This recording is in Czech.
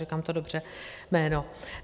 Říkám dobře to jméno?